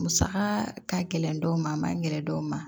Musaka ka gɛlɛn dɔw ma a man gɛlɛn dɔw ma